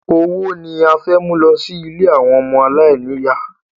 Owó ni a fẹ́ mú lọ sí ilé àwọn ọmọ aláìníyà?